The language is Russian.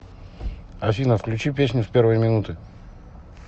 афина включи песню с первой минуты